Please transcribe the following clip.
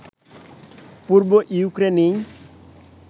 পূর্ব ইউক্রেইনে